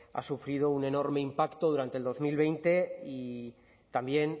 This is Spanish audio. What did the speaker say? ha sufrido un enorme impacto durante dos mil veinte y también